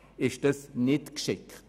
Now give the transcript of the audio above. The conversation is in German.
Das ist nicht geschickt.